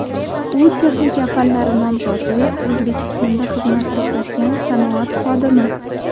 U texnika fanlari nomzodi, O‘zbekistonda xizmat ko‘rsatgan sanoat xodimi .